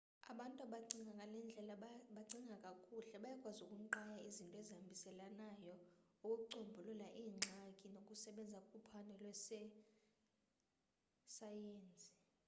abantu abacinga ngale ndlela bacinga kakuhle bayakwazi ukunqaya izinto ezihambiselanayo ukucombulula iingxaki nokusebenza kuphando lwezesayensi